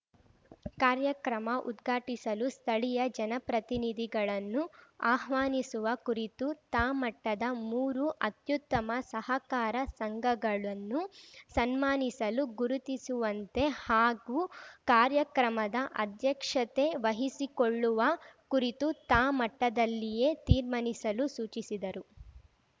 ಕಾರ್ಯಕ್ರಮ ಉದ್ಘಾಟಿಸಲು ಸ್ಥಳೀಯ ಜನಪ್ರತಿನಿಧಿಗಳನ್ನು ಆಹ್ವಾನಿಸುವ ಕುರಿತು ತಾ ಮಟ್ಟದ ಮೂರು ಅತ್ಯುತ್ತಮ ಸಹಕಾರ ಸಂಘಗಳನ್ನು ಸನ್ಮಾನಿಸಲು ಗುರುತಿಸುವಂತೆ ಹಾಗೂ ಕಾರ್ಯಕ್ರಮದ ಅಧ್ಯಕ್ಷತೆ ವಹಿಸಿಕೊಳ್ಳುವ ಕುರಿತು ತಾ ಮಟ್ಟದಲ್ಲಿಯೇ ತೀರ್ಮಾನಿಸಲು ಸೂಚಿಸಿದರು